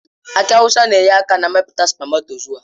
Aki awụsa na-enyere aka na mmepụta spamatozua.